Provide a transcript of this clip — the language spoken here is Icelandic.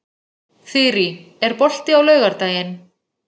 Þyrí, er bolti á laugardaginn?